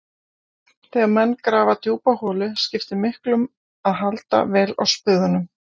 Þegar menn grafa djúpa holu skiptir miklu að halda vel á spöðunum.